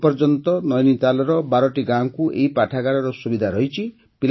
ଏ ପର୍ଯ୍ୟନ୍ତ ନୈନିତାଲର ୧୨ଟି ଗାଁକୁ ଏହି ପାଠାଗାରର ସୁବିଧା ରହିଛି